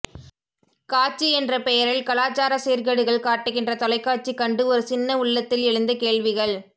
காட்சி என்ற பெயரில் கலாச்சாரச் சீர்கேடுகள் காட்டுகின்ற தொலைக்காட்சி கண்டு ஒரு சின்ன உள்ளத்தில் எழுந்த கேள்விகள்